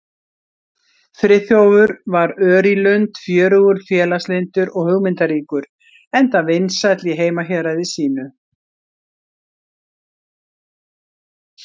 Friðþjófur var ör í lund, fjörugur, félagslyndur og hugmyndaríkur, enda vinsæll í heimahéraði sínu.